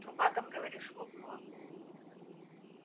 труба там говоришь лопнула